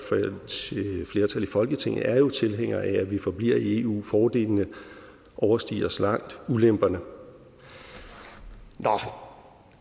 flertal i folketinget er jo tilhængere af at vi forbliver i eu fordelene overstiger så langt ulemperne nå